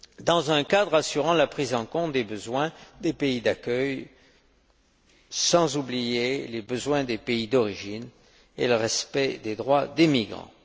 dans un cadre assurant la prise en compte des besoins des pays d'accueil sans oublier les besoins des pays d'origine et le respect des droits des migrants.